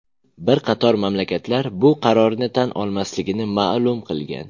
Bir qator mamlakatlar bu qarorni tan olmasligini ma’lum qilgan.